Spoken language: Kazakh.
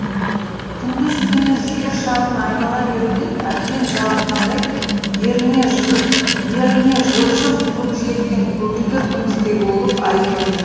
күндіз түні жер шарын айнала беруден әбден жалыққандай еріне жылжып көкжиектен көгілдір күмістей болып ай көрінді